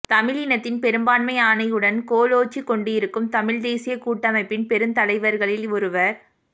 தமிழினத்தின் பெரும்பான்மை ஆணையுடன் கோலோச்சிக் கொண்டிருக்கும் தமிழ் தேசியக்கூட்டமைப்பின் பெருந்தலைர்களில் ஒருவர்